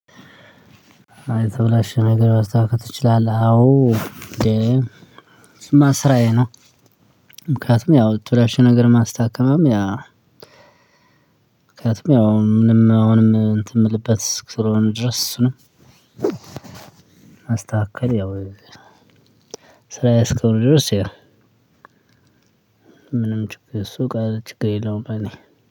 ሃይ የተበላሸ ነገር ማስተካከል ትችላለህ? አዎ እንዴ እሱማ ስራዬ ነው። ምክንያቱም ያው የተበላሸ ነገር ማስተካከልም ያ ምክንያቱም ያው ምንም አሁንም እንትን የምልበት ስለሆነ ድረስ እሱንም። ማስተካከል ያው ስራዬ እስከሆነ ድረስ ያ። ምንም ችግር እሱ ቃል ችግር የለውም። እኔ